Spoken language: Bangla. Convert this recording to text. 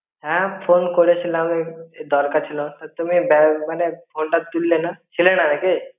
হ্যাঁ phone করে ছিলাম. এই দরকার ছিলো তুমি ব্য~ মানে phone টা তুলেনা. ছিলেনা নাকি?